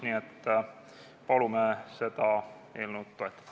Nii et palume seda eelnõu toetada.